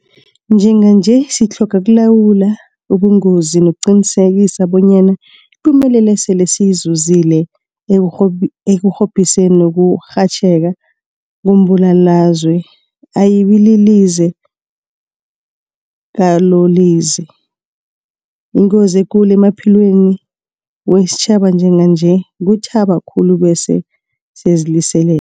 Njenganje sitlhoga ukulawula ubungozobu nokuqinisekisa bonyana ipumelelo esele siyizuzile ekurhobhiseni ukurhatjheka kombulalazwe ayibililize lakolize. Ingozi ekulu emaphilweni wesitjhaba njenganje kuthaba khulu bese siyaziliselela.